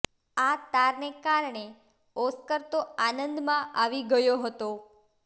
આ તારને કારણે ઓસ્કર તો આનંદમાં આવી ગયો હતો